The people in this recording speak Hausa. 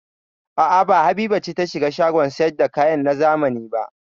A'a, ba Habiba ce ta shiga shagon sayar da kaya na zamani ba.